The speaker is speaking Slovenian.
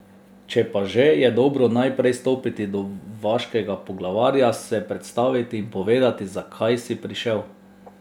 Če pa že, je dobro najprej stopiti do vaškega poglavarja, se predstaviti in povedati, zakaj si prišel.